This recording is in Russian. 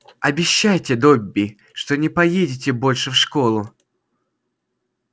обещайте добби что не поедете больше в школу